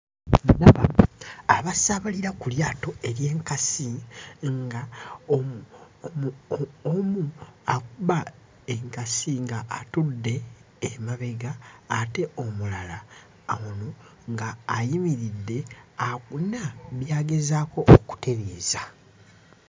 Ndaba abasaabalira ku lyato ery'enkasi ng'omu akuba enkasi ng'atudde emabega ate omulala ono ng'ayimiridde akuna by'agezaako okutereeza.